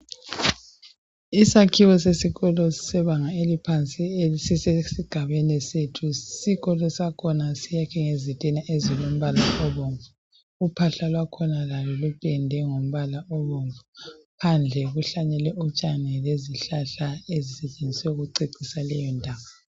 Isakhiwo sesikolo sebanga eliphansi esigabeni sethu. Isikolo sakhona sakhiwe ngezitina ezilombala obomvu. Uphahla lupendwe ngombala obomvu. Phandle kuhlanyelwe utshani lezihlahla ezisetshenziswe ukucecisa leyondawo.